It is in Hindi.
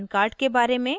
pan कार्ड के बारे में